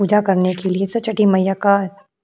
पूजा करने के लिए छठी मैया का --